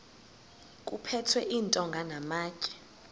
kuphethwe iintonga namatye